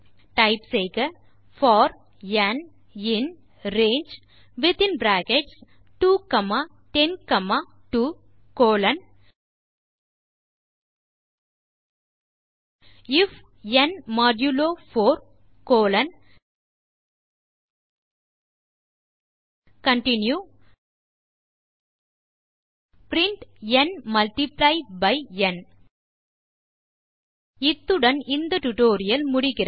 type செய்க for n in range within bracket 2 comma 10 comma 2 colon if n modulo 4 colon continue print n multiply by n இத்துடன் இந்த tutorial முடிகிறது